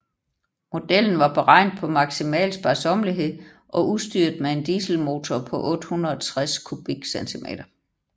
Modellen var beregnet på maksimal sparsommelighed og udstyret med en dieselmotor på 860 cm³